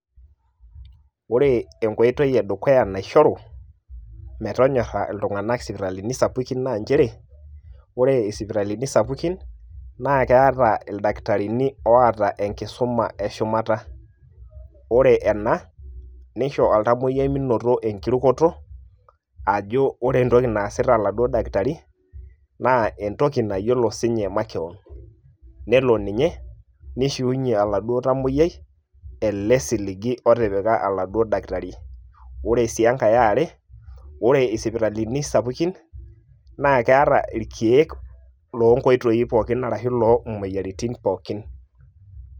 Ore enkoitoi edukuya naishoru metonyorra iltung'anak isipitalini sapukin na njere, ore isipitalini sapukin, na keeta ildakitarini oata enkisuma eshumata. Ore ena, nisho oltamoyiai minoto enkirukoto, ajo ore entoki naasita oladuo dakitari, na entoki nayiolo sinye makeon. Nelo ninye, nishiunye oladuo tamoyiai, ele siligi otipika oladuo dakitari. Ore si enkae eare, ore isipitalini sapukin, na keeta irkeek lo nkoitoi pookin arashu lo moyiaritin pookin.